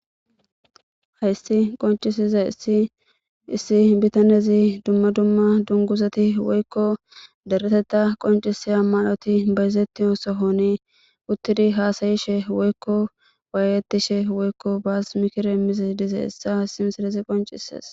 Haysti qoncisize issi issi bitanezi dumma dumma dunguzati woykko deretetta qonciseya maloti bayzetti o sohoni uttidi haasayishe woykko waayetishe woykko baasmikire mizi dize ssa simserezi qoncises